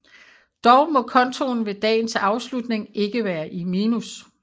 Dog må kontoen ved dagens afslutning ikke være i minus